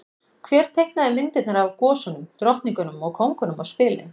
Hver teiknaði myndirnar af gosunum, drottningunum og kóngunum á spilin?